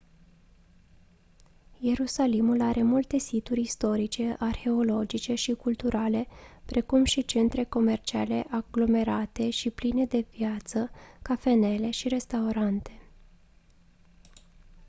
ierusalimul are multe situri istorice arheologice și culturale precum și centre comerciale aglomerate și pline de viață cafenele și restaurante